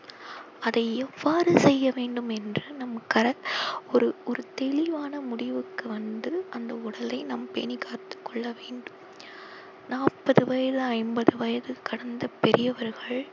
அதை எவ்வாறு செய்ய வேண்டும் என்று ஒரு ஒரு தெளிவான முடிவுக்கு வந்து அந்த உடலை நாம் பேணிக் காத்துக் கொள்ள வேண்டும் நாப்பது வயது ஐம்பது வயது கடந்த பெரியவர்கள்